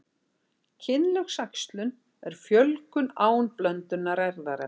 Kynlaus æxlun er fjölgun án blöndunar erfðaefnis.